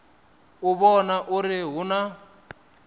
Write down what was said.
u vhona uri hu na